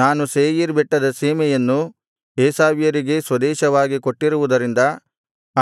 ನಾನು ಸೇಯೀರ್ ಬೆಟ್ಟದ ಸೀಮೆಯನ್ನು ಏಸಾವ್ಯರಿಗೇ ಸ್ವದೇಶವಾಗಿ ಕೊಟ್ಟಿರುವುದರಿಂದ